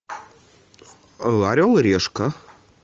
орел и решка